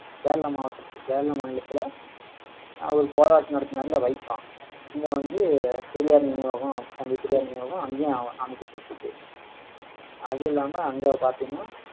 கேரளா மாவட்டத்துல கேரளா மாநிலத்திலே, அவர் போராட்டம் நடத்தினாரு இல்லை வைக்கம் இங்கே வந்து பெரியார் நினைவகம் தந்தை பெரியார் நினைவகம் அங்கேயும் ஆஹ் அமைக்கப்பட்டிருக்கு அது இல்லாம, அங்க பாத்தீங்கன்னா